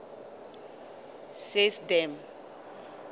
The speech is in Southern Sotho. system